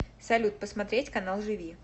салют посмотреть канал живи